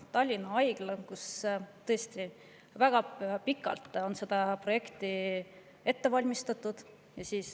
Tallinna Haigla projekti on tõesti väga pikalt ette valmistatud.